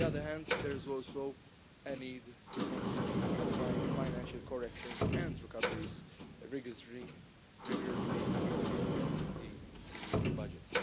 On the other hand, there is also a need to continue applying financial corrections and recoveries rigorously to protect the EU budget.